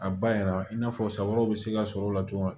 A ba yɛrɛ i n'a fɔ sa wɛrɛw bɛ se ka sɔrɔ o la cogo min na